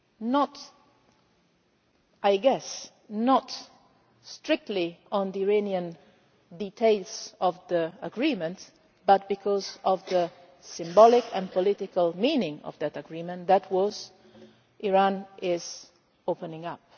not, I guess, strictly on the Iranian details of the agreement, but because of the symbolic and political meaning of that agreement, namely that Iran is opening up.